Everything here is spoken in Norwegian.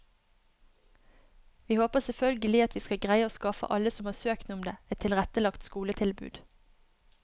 Vi håper selvfølgelig at vi skal greie å skaffe alle som har søkt om det, et tilrettelagt skoletilbud.